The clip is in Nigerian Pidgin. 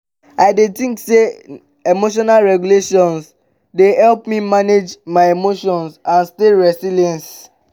i dey think say emotional regulation dey help me manage my emotions and stay resilience.